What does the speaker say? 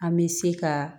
An bɛ se ka